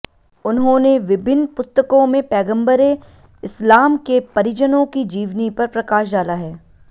उन्होंने विभिन्न पुस्तकों में पैग़म्बरे इस्लाम के परिजनों की जीवनी पर प्रकाश डाला है